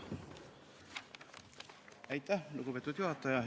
Aitäh, lugupeetud juhataja!